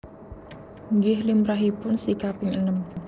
Nggih limrahipun si kaping enem